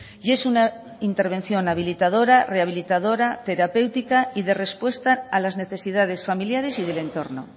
y es una intervención habilitadora rehabilitadora terapéutica y de respuesta a las necesidades familiares y del entorno